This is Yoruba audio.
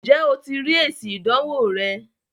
ǹjẹ́ o ti rí èsì ìdánwò rẹ?